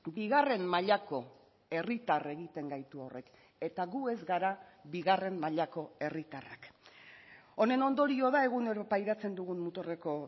bigarren mailako herritar egiten gaitu horrek eta gu ez gara bigarren mailako herritarrak honen ondorio da egunero pairatzen dugun muturreko